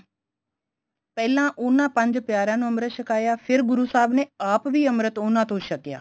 ਪਹਿਲਾਂ ਉਨ੍ਹਾਂ ਪੰਜ ਪਿਆਰਿਆਂ ਨੂੰ ਅਮ੍ਰਿਤ ਛਕਾਇਆ ਫੇਰ ਗੁਰੂ ਸਾਹਿਬ ਨੇ ਆਪ ਵੀ ਅਮ੍ਰਿਤ ਉਨ੍ਹਾਂ ਤੋਂ ਛਕਿਆ